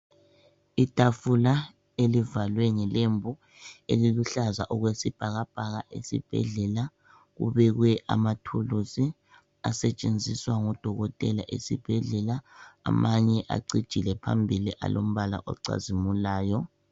Itafula elivalwe ngelembu eliluhlaza okwesibhakabhaka esibhedlela kubekwe amathulusi asetshenziswa ngudokotela esibhedlela amanye acijile phambili alombala ocazimulayo.